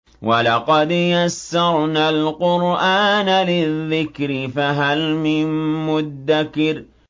وَلَقَدْ يَسَّرْنَا الْقُرْآنَ لِلذِّكْرِ فَهَلْ مِن مُّدَّكِرٍ